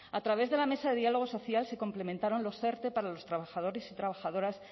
a través de la mesa de diálogo social se complementaron los erte para los trabajadores y trabajadoras